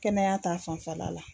Kɛnɛya ta fanfɛla la.